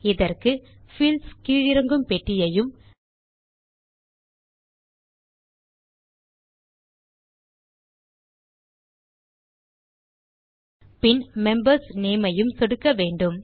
இதற்கு பீல்ட்ஸ் கீழிறங்கும் பெட்டியையும் பின் membersநேம் ஐயும் சொடுக்க வேண்டும்